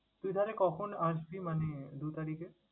তুই তাইলে কখন আসবি মানে দু তারিখে?